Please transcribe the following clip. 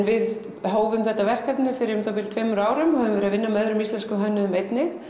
við hófum þetta verkefni fyrir um það bil tveimur árum og höfum verið að vinna með öðrum íslenskum hönnuðum einnig